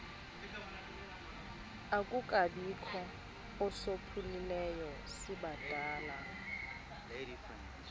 akukabikho usophulileyo sibadala